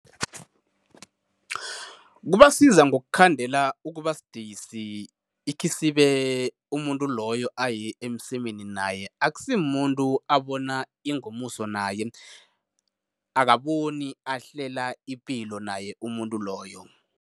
Kubasiza ngokukhandela ukuba sidisi ikhisibe umuntu loyo aye emsemeni naye, akusimumuntu abona ingomuso naye, akaboni ahlela ipilo naye umuntu loyo.